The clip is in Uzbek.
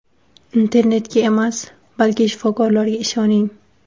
Internetga emas, balki shifokorlarga ishoning!